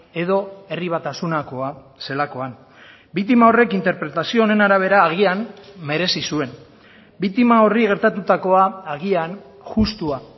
edo herri batasunakoa zelakoan biktima horrek interpretazio honen arabera agian merezi zuen biktima horri gertatutakoa agian justua